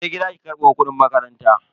Je gida ki karbo kudin makaranta.